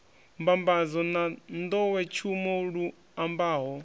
mbambadzo na nḓowetshumo lu ambaho